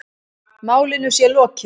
Málinu sé lokið.